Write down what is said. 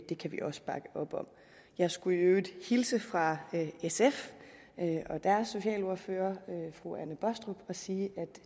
det kan vi også bakke op om jeg skulle i øvrigt hilse fra sf og deres socialordfører fru anne baastrup og sige